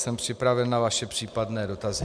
Jsem připraven na vaše případné dotazy.